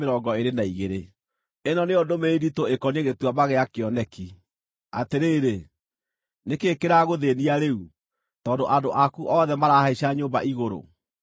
Ĩno nĩyo ndũmĩrĩri nditũ ĩkoniĩ Gĩtuamba gĩa Kĩoneki: Atĩrĩrĩ, nĩ kĩĩ kĩragũthĩĩnia rĩu, tondũ andũ aku othe marahaica nyũmba igũrũ,